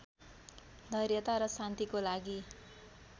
धैर्यता र शान्तिको लागि